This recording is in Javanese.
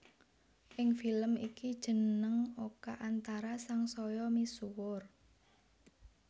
Ing film iki jeneng Oka Antara sangsaya misuwur